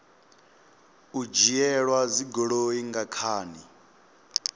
u dzhielwa dzigoloi nga khani